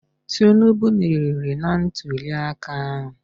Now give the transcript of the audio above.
Tinubu merịrị ntulịaka ahụ